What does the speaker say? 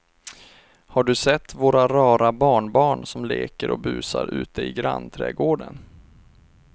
Har du sett våra rara barnbarn som leker och busar ute i grannträdgården!